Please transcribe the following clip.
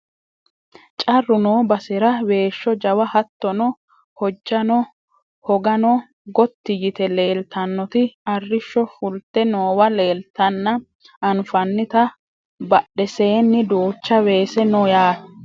carru noo basera weeshsho jawa hattono hojjano hoggano gotti yite leeltannoti arrishsho fulte noowa leeltanna anfanita badheseenni duucha weese no yaate